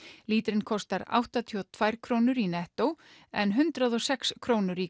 lítrinn kostar áttatíu og tvær krónur í nettó en hundrað og sex krónur í